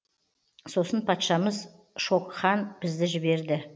сосын патшамыз шокхан бізді жіберді